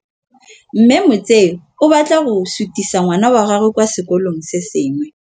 Mme Motsei o batla go sutisa ngwana wa gagwe kwa sekolong se sengwe.